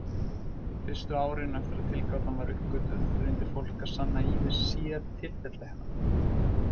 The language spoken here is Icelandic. Fyrstu árin eftir að tilgátan var uppgötvuð reyndi fólk að sanna ýmis sértilfelli hennar.